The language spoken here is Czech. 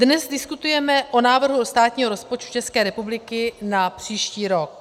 Dnes diskutujeme o návrhu státního rozpočtu České republiky na příští rok.